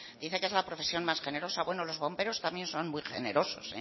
dice que es la profesión más generosa bueno los bomberos también son muy generosos